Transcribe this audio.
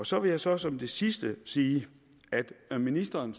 så vil jeg så som det sidste sige at ministeren